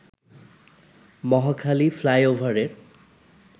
মহাখালী ফ্লাইওভারের